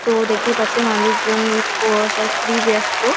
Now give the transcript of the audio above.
তো দেখতেই পাচ্ছেন মানুষজন প্রবাসে খুবই ব্যাস্ত।